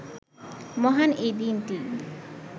মহান এই দিনটি